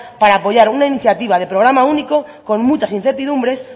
para apoyar una iniciativa de programa único con muchas incertidumbres